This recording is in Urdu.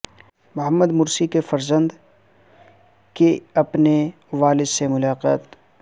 محمد مرسی کے فرزند کی اپنے والد سے ملاقات